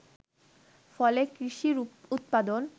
ফলে কৃষির উৎপাদন